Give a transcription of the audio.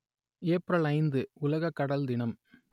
April ஐந்து உலக கடல் தினம்